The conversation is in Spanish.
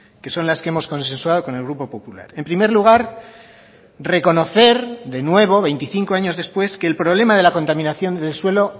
que son las que hemos consensuado con el grupo popular en primer lugar reconocer de nuevo veinticinco años después que el problema de la contaminación del suelo